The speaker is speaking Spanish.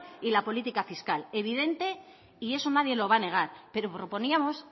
y la política fiscal evidente y eso nadie lo va a negar pero proponíamos